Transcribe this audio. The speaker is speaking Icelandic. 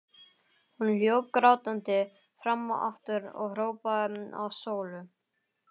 Hún hljóp grátandi fram og aftur og hrópaði á Sólu.